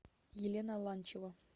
елена ланчева